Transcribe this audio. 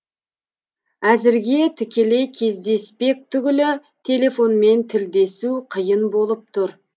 әзірге тікелей кездеспек түгілі телефонмен тілдесу қиын болып тұр